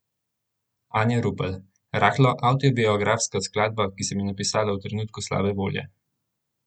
Anja Rupel: "Rahlo avtobiografska skladba, ki sem jo napisala v trenutku slabe volje.